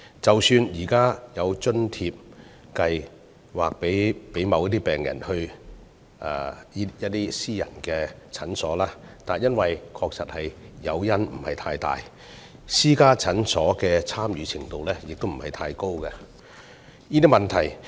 即使現時有津貼計劃供某些病人到私家診所求診，但由於誘因不大，私家診所的參與度亦不高。